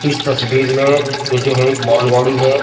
इस तस्वीर में ये जो है एक मालगाड़ी है।